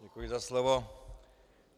Děkuji za slovo.